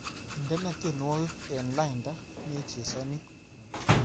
Indene tyenwogik eng lainda nechesani